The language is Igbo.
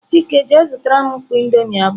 Chike je zutaram mkpọ indomie abuo!.